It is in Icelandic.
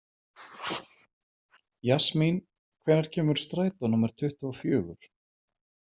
Jasmín, hvenær kemur strætó númer tuttugu og fjögur?